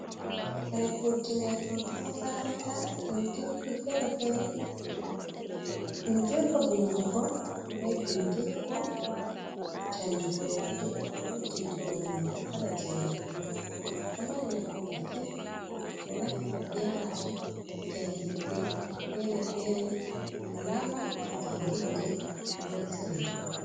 Kare kuutinirɗum haa makaranta. Ɓindirɗi fere-fere, bindirgo vindugo, be bindirgo canjugo nonde, ko diidugo nonde, kala jei a yiɗi fu. Ɗum ɗo mari nafu masin. Ɓe ɗo naftira be majum haa jangidde fere-fere, wala ma ba jangidde noziri.